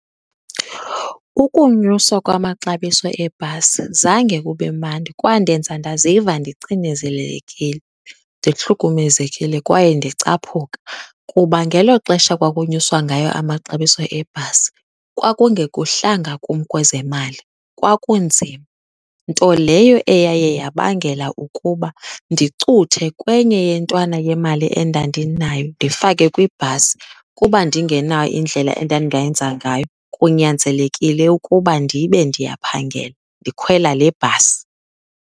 Ukunyuswa kwamaxabiso eebhasi zange kube mandi. Kwandenza ndaziva ndicinezelelekile, ndihlukumezekile kwaye ndicaphuka kuba ngelo xesha kwakunyuswa ngayo amaxabiso ebhasi kwakungekuhlanga kum kwezemali, kwakunzima. Nto leyo eyaye yabangela ukuba ndicuthe kwenye yentwana yemali endandinayo, ndifake kwibhasi kuba ndingenayo indlela endandingayenza ngayo kunyanzelekile ukuba ndibe ndiyaphangela ndikhwela le bhasi.